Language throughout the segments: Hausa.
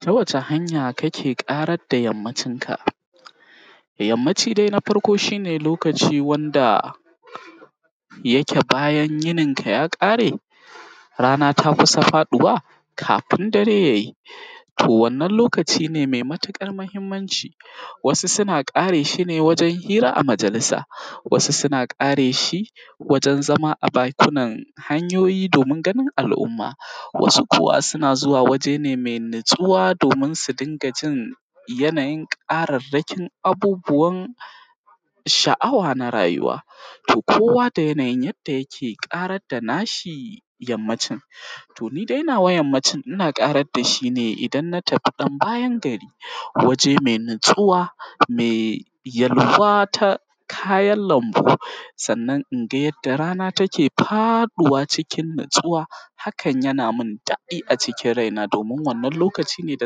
Ta waca hanya kake ƙarar da yammacin ka? Yammaci dai na farko shine lokaci wanda yake bayan yinin ta ya ƙare rana ta kusa faɗuwa kafin dare yayi to wannan lokaci ne mai matuƙar mahimmanci. Wasu suna ƙare shine wajen hira a majalisa, wasu suna ƙareshi wajen zama a bakunan hanyoyi domin ganin al’umma. Wasu kuwa suna zuwa mai natsuwa domin su dinga jin yanayi ƙararrakin abubuwan sha’awa na rayuwa, toh kowa da yanayin yadda yake ƙarar da nashi yammancin. To nidai nawa yammancin inna ƙarar dashi ne idan na tafi ɗan bayan gari waje natsuwa mai yalwa ta kayan lambu sannan inga yadda rana take faɗuwa cikin natsuwa hakan yana mun daɗi a cikin raina domin wannan lokacin yanda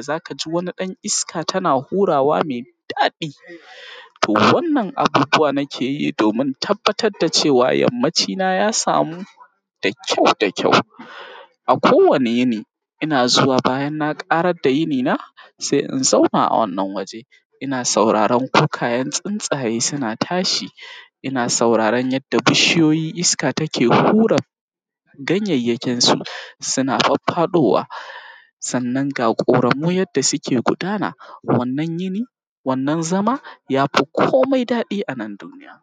zakaji wani ɗan iska tana hurawa mai daɗi. To wannan abubuwa nakeyi domin tabbatar da cewa yammaci na ya samu da kyau da kyau, a kowani yini ina zuwa bayan na ƙarar da yini na, sai in zauna a wannan waje ina sauraron kukayen tsuntsaye suna tashi ina sauraron yadda bishiyoyi iska take hura ganyayyakin su suna faffaɗowa, sannan ga ƙoramu yanda suke gudana wannan yini wannan zama yafi komai daɗi anan duniya.